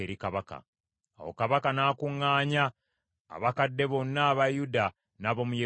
Awo kabaka n’akuŋŋaanya abakadde bonna aba Yuda n’ab’omu Yerusaalemi.